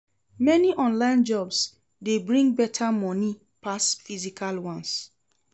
Many online jobs dey bring better money pass physical ones